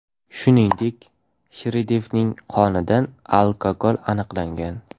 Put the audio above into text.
Shuningdek, Shridevining qonidan alkogol aniqlangan.